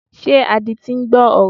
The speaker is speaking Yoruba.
Ṣé adití ń gbọ́ ọ̀rọ̀?